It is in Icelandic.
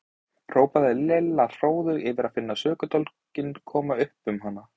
hrópaði Lilla hróðug yfir að finna sökudólginn koma upp um hann.